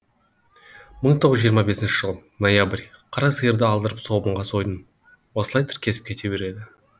мың тоғыз жүз жиырма бесінші жыл ноябрь қара сиырды алдырып соғымға сойдым осылай тіркесіп кете береді